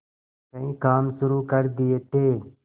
कई काम शुरू कर दिए थे